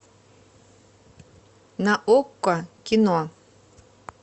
на окко кино